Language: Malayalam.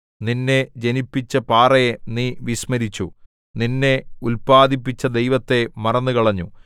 നിന്നെ ജനിപ്പിച്ച പാറയെ നീ വിസ്മരിച്ചു നിന്നെ ഉല്പാദിപ്പിച്ച ദൈവത്തെ മറന്നുകളഞ്ഞു